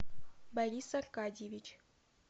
борис аркадьевич